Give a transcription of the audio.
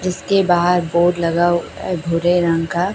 उसके बाहर बोर्ड लगा हुआ है भूरे रंग का--